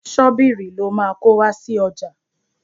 Ṣọ́bìrì lo máa kó wá sí ọjà.